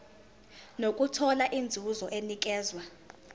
nokuthola inzuzo enikezwa